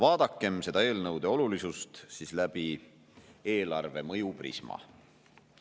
Vaadakem siis nende eelnõude olulisust läbi eelarvele mõju prisma.